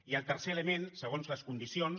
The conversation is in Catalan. i el tercer element segons les condicions